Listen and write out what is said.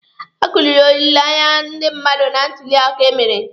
A kụriri olileanya ndị mmadụ na ntuli aka emere.